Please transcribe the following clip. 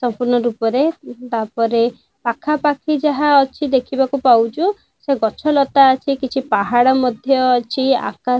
ସମ୍ପୂର୍ଣ୍ଣ ରୂପରେ ତାପରେ ପାଖା ପାଖି ଯାହା ଅଛି। ଦେଖିବାକୁ ପାଉଚୁ। ସେ ଗଛ ଲତା ଠିଏ କିଛି ପାହାଡ଼ ମଧ୍ୟ ଅଛି। ଆକାଶ --